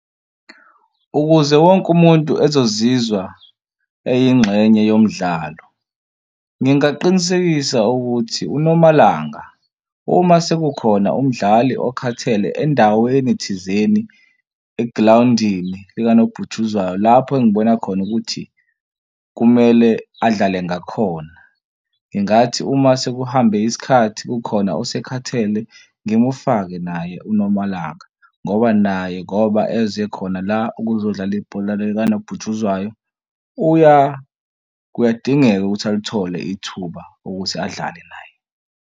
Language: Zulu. Ukuze wonke umuntu ezozizwa eyingxenye yomdlalo, ngingaqinisekisa ukuthi uNomalanga uma sekukhona umdlali okhathele endaweni thizeni egrawundini likanobhutshuzwayo lapho engibona khona ukuthi kumele adlale ngakhona, ngingathi uma sekuhambe isikhathi kukhona osekhathele ngimufake naye uNomalanga ngoba naye ngoba eze khona la ukuzodlala ibhola likanobhutshuzwayo kuyadingeka ukuthi alithole ithuba ukuthi adlale naye.